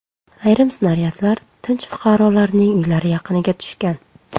Ayrim snaryadlar tinch fuqarolarning uylari yaqiniga tushgan.